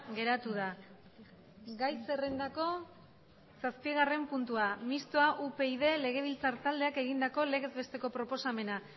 geratu da gai zerrendako zazpigarren puntua mistoa upyd legebiltzar taldeak egindako legez besteko proposamena